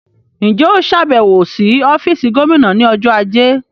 Ǹjẹ́ óò ṣe àbẹ̀wò sí ọ́fíìsì Gómìnà ní ọjọ́ ajé?